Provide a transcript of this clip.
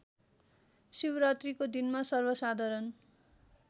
शिवरात्रीको दिनमा सर्वसाधारण